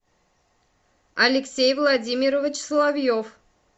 алексей владимирович соловьев